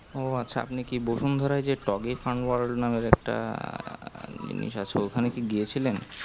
ও আছ আপনি কি বসুন ধারা যে toggy fun world নামের একটা জিনিস আছে ওখানে কি গিয়ে ছিলেন